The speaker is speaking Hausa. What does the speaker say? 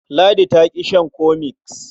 Ladi ta ƙi shan cofex.